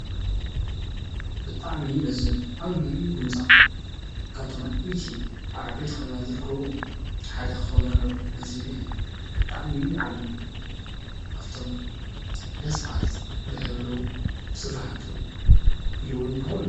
ብጣዕሚ ደስ ዝብል ዓብይ ህንፃ ካብቶም ኣብ ዓበይቲ ከተማታት ዝርከቡ ሓደ ክከውን ኣለዎ። እዚ ግን ብጣዕሚ ዓብይ እዩ። ካብቶም ደስ ባሃልቲ ብሕብሩ ብስራሓቱ ኢሉ እውን ብኹሉ።